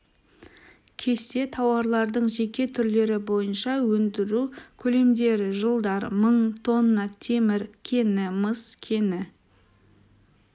кесте тауарлардың жеке түрлері бойынша өндіру көлемдері жылдар мың тонна темір кені мыс кені